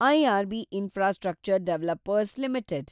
IRB infrastructure developers limited